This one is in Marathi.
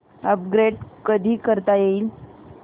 अपग्रेड कधी करता येईल